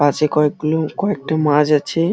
পাশে কয়েক গুলো কয়েকটা মাছ আছে।